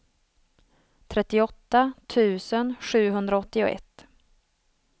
trettioåtta tusen sjuhundraåttioett